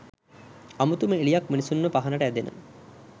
අමුතුම එළියක් මිනිසුන්ව පහනට ඇදෙන